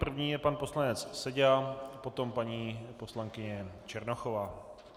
První je pan poslanec Seďa, potom paní poslankyně Černochová.